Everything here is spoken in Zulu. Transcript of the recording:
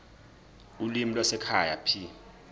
ulimi lwasekhaya p